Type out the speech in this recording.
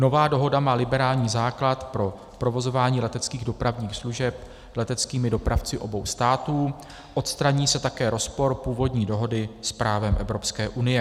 Nová dohoda má liberální základ pro provozování leteckých dopravních služeb leteckými dopravci obou států, odstraní se také rozpor původní dohody s právem Evropské unie.